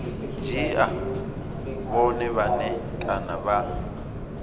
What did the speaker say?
dzhia vhone vhane kana vha